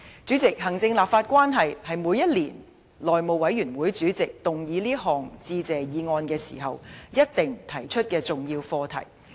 主席，行政立法關係，是每年內務委員會主席動議這項致謝議案時一定會提出的重要課題。